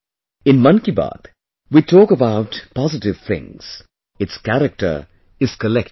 In Mann Ki Baat, we talk about positive things; its character is collective